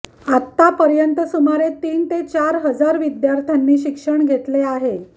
आतापर्यंत सुमारे तीन ते चार हजार विद्यार्थ्यांनी शिक्षण घेतले आहे